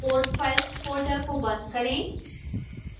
code files folder को बंद करें